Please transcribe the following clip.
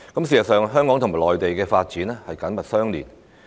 事實上，香港與內地的發展緊密相連。